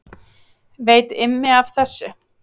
Veit Immi af þessu?